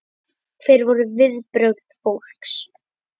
Hver voru viðbrögð fólks?